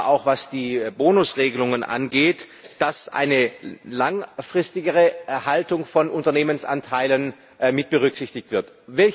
Vor allem aber auch, was die Bonusregelungen angeht, muss eine langfristigere Erhaltung von Unternehmensanteilen mitberücksichtigt werden.